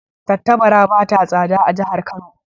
Tattabara ba ta tsada a jihar Kano